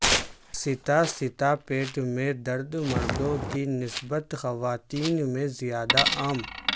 ستا ستا پیٹ میں درد مردوں کی نسبت خواتین میں زیادہ عام